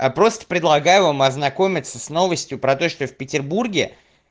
а просто предлагаю вам ознакомиться с новостью про то что в петербурге